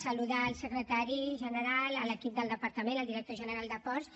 saludar el secretari general l’equip del departament el director general de ports